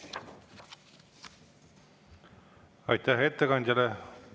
Aitäh ettekandjale.